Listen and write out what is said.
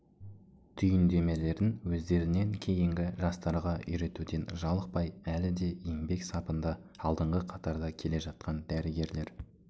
түйіндемелерін өздерінен кейінгі жастарға үйретуден жалықпай әлі де еңбек сапында алдыңғы қатарда келе жатқан дәрігерлер